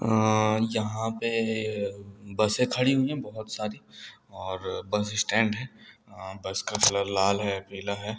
यहाँ पे बसे खड़ी हुई हैं बोहोत सारी और बस स्टैंड है। बस का कलर लाल है पीला है।